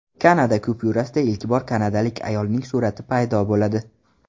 Kanada kupyurasida ilk bor kanadalik ayolning surati paydo bo‘ladi.